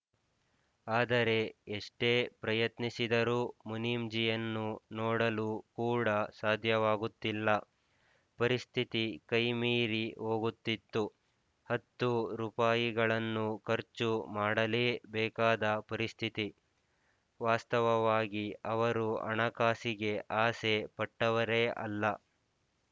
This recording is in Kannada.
ಆದರೆ ಎಷ್ಟೇ ಪ್ರಯತ್ನಿಸಿದರೂ ಮುನೀಮ್‍ಜಿಯನ್ನು ನೋಡಲು ಕೂಡ ಸಾಧ್ಯವಾಗುತ್ತಿಲ್ಲ ಪರಿಸ್ಥಿತಿ ಕೈ ಮೀರಿ ಹೋಗುತ್ತಿತ್ತು ಹತ್ತು ರೂಪಾಯಿಗಳನ್ನು ಖರ್ಚು ಮಾಡಲೇ ಬೇಕಾದ ಪರಿಸ್ಥಿತಿ ವಾಸ್ತವವಾಗಿ ಅವರು ಹಣಕಾಸಿಗೆ ಆಸೆ ಪಟ್ಟವರೇ ಅಲ್ಲ